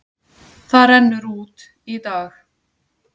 Það rennur út í dag.